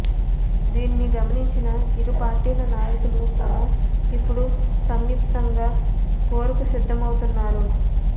దీనిని గమనించిన ఇరు పార్టీల నాయకులు కూడా ఇప్పుడు సంయుక్తంగా పోరుకు సిద్ధమవుతున్నారు